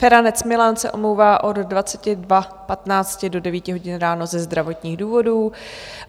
Feranec Milan se omlouvá od 22.15 do 9.00 hodin ráno ze zdravotních důvodů.